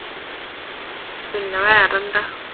പിന്നെ വേറെന്താ?